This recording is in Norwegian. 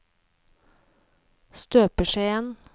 støpeskjeen